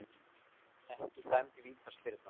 Ekki dæmd vítaspyrna